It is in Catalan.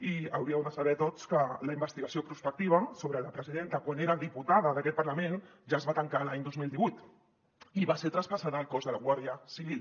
i hauríeu de saber tots que la investigació prospectiva sobre la presidenta quan era diputada d’aquest parlament ja es va tancar l’any dos mil divuit i va ser traspassada al cos de la guàrdia civil